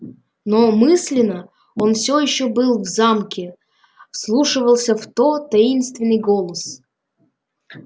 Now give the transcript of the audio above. но мысленно он всё ещё был в замке вслушивался в тот таинственный голос